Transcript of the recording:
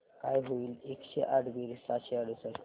काय होईल एकशे आठ बेरीज सहाशे अडुसष्ट